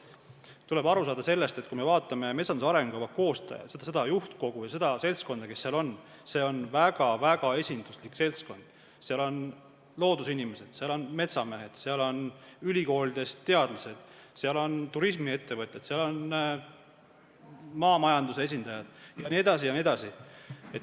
Tuleb aru saada, et kui me vaatame metsanduse arengukava koostajat, juhtkogu või seda seltskonda, kes seal on, siis see on väga-väga esinduslik seltskond – seal on loodusinimesed, seal on metsamehed, seal on ülikoolide teadlased, seal on turismiettevõtjad, seal on maamajanduse esindajad jne, jne.